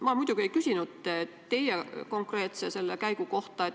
Ma muidugi ei küsinud teie selle konkreetse käigu kohta.